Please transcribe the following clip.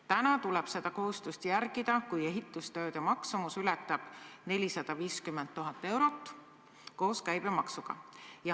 Täna tuleb seda kohustust järgida, kui ehitustööde maksumus ületab 450 000 eurot koos käibemaksuga.